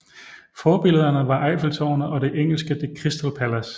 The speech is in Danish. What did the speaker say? Forbillederne var Eiffeltårnet og det engelske The Crystal Palace